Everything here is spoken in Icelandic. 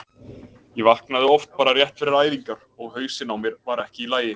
Ég vaknaði oft bara rétt fyrir æfingar og hausinn á mér var ekki í lagi.